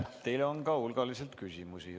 Teile on hulgaliselt küsimusi.